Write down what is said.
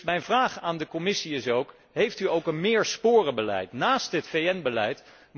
Mijn vraag aan de Commissie is dan ook heeft u ook een meersporenbeleid naast dit VN beleid?